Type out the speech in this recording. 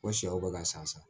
Ko sɛw bɛ ka san